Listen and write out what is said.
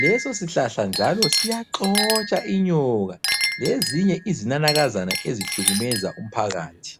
Leso sihlahla njalo siyaxotsha inyoka lezinye izinanakazana ezihlukumeza umphakathi.